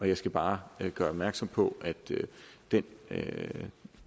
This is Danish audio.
jeg skal bare gøre opmærksom på at det